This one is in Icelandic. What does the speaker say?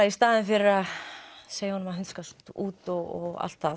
í staðinn fyrir að segja honum að hundskast út og allt það